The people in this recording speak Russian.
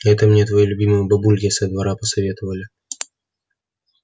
это мне твои любимые бабульки со двора посоветовали